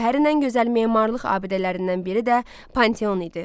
Şəhərin ən gözəl memarlıq abidələrindən biri də Panteon idi.